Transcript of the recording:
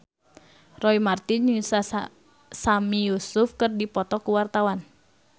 Roy Marten jeung Sami Yusuf keur dipoto ku wartawan